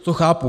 To chápu.